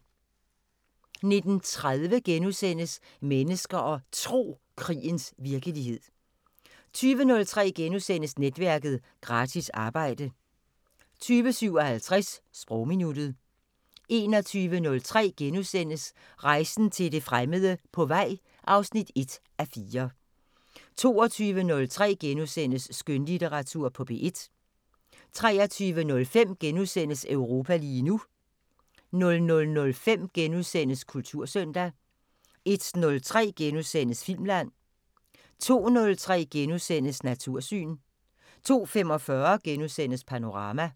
19:30: Mennesker og Tro: Krigens virkelighed * 20:03: Netværket: Gratis arbejde * 20:57: Sprogminuttet 21:03: Rejsen til det fremmede: På vej (1:4)* 22:03: Skønlitteratur på P1 * 23:05: Europa lige nu * 00:05: Kultursøndag * 01:03: Filmland * 02:03: Natursyn * 02:45: Panorama *